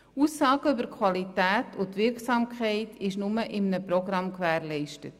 Aussagen über Qualität und Wirksamkeit sind nur in einem Programm gewährleistet.